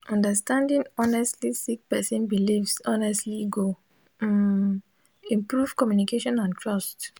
understanding honestly sik person bilifs honestly go um improve communication and trust